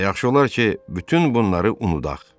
Və yaxşı olar ki, bütün bunları unudaq.